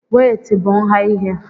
wéétị bu nha ihe